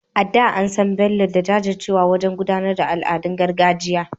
A da, an san Bello da jajircewarsa wajen gudanar da al’adun gargajiya.